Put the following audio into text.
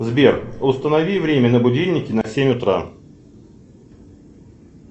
сбер установи время на будильнике на семь утра